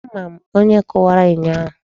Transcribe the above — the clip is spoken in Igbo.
Ama m onye kụwara enyo ahụ.